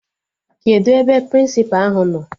Kedụ ebe Prịnsịpa ahụ nọ?